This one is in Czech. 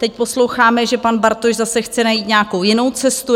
Teď posloucháme, že pan Bartoš zase chce najít nějakou jinou cestu.